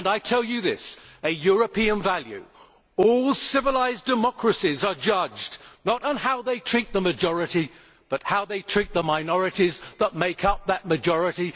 I tell you this a European value all civilised democracies are judged not on how they treat the majority but on how they treat the minorities that make up that majority.